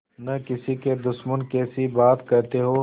न किसी के दुश्मन कैसी बात कहते हो